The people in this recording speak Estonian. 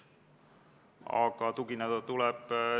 Head kolleegid!